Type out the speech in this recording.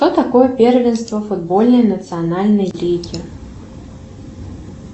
что такое первенство футбольной национальной лиги